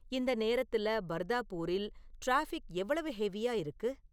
இந்த நேரத்துல பர்தாபூரில் டிராஃபிக் எவ்வளவு ஹெவியா இருக்கு?